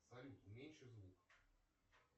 салют меньше звук